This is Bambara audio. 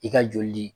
I ka joli di